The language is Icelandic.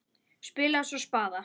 Spilaði svo spaða.